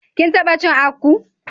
Kin tabba cin akpu?